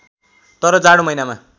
तर जाडो महिनामा